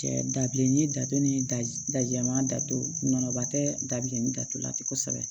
Cɛ dabilennin datugu ni dajɛman datugu nɔnɔba tɛ dabilenni datugulan tɛ kosɛbɛ